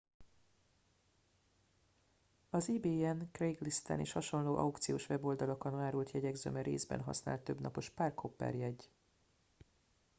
az ebayen craiglisten és hasonló aukciós weboldalakon árult jegyek zöme részben használt többnapos park hopper jegy